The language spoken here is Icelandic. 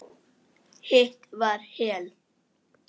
Hitt var Hel.